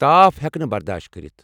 تاف ہیٚکہٕ نہٕ برداشت کٔرِتھ ۔